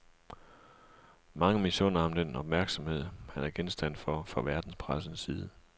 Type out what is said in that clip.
Mange misunder ham den opmærksomhed, han er genstand for fra verdenspressens side.